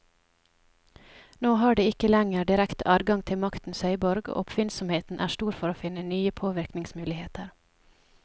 Nå har de ikke lenger direkte adgang til maktens høyborg, og oppfinnsomheten er stor for å finne nye påvirkningsmuligheter.